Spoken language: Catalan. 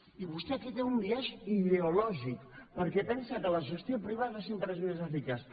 i vostè aquí té un biaix ideològic perquè pensa que la gestió privada sempre és més eficaç